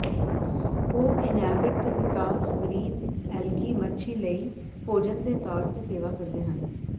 ਉਹ ਇੰਨਹੇਬਿਟ ਦੇ ਵਿਕਾਸ ਗਰੀਨ ਐਲਗੀ ਮੱਛੀ ਲਈ ਭੋਜਨ ਦੇ ਤੌਰ ਤੇ ਸੇਵਾ ਕਰਦੇ ਹਨ